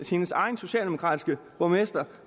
hendes egen socialdemokratiske borgmester